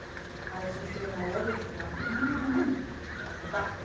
а если ещё и на лодочке мм красота